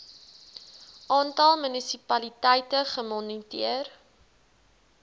aantal munisipaliteite gemoniteer